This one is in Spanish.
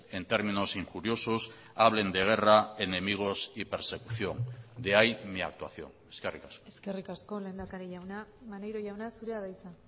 en términos injuriosos hablen de guerra enemigos y persecución de ahí mi actuación eskerrik asko eskerrik asko lehendakari jauna maneiro jauna zurea da hitza